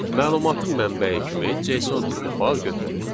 Məlumatın mənbəyi kimi JSON tipli fayl götürək.